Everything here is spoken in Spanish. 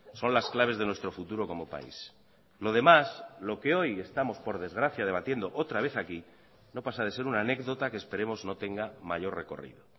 son las claves de nuestro futuro como país lo demás lo que hoy estamos por desgracia debatiendo otra vez aquí no pasa de ser una anécdota que esperemos no tenga mayor recorrido